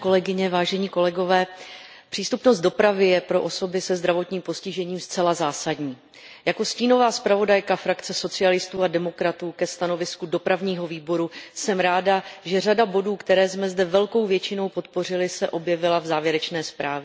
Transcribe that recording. Pane předsedající, přístupnost dopravy je pro osoby se zdravotním postižením zcela zásadní. Jako stínová zpravodajka frakce socialistů a demokratů ke stanovisku Výboru pro dopravu a cestovní ruch jsem ráda, že řada bodů, které jsme zde velkou většinou podpořili, se objevila v závěrečné zprávě.